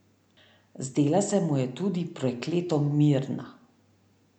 Zdela se mu je tudi prekleto mirna.